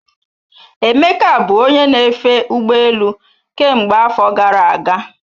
Emeka bụ onye na-efe ụgbọ elu ka mgbe afọ gara aga.